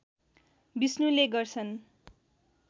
विष्णुले गर्छन्